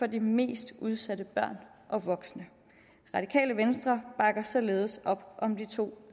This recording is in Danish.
de mest udsatte børn og voksne radikale venstre bakker således op om de to